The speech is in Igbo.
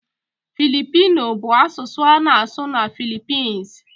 Filipino bụ asụsụ a na-asụ na Philippines.